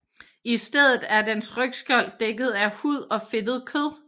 I stedet er dens rygskjold dækket af hud og fedtet kød